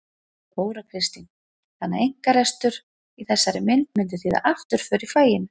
Þóra Kristín: Þannig að einkarekstur í þessari mynd myndi þýða afturför í faginu?